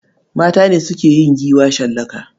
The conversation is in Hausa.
Mata ne suke yin giwa shallaka.